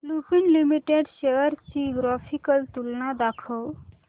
Lupin limited shares ची graphical तुलना दाखव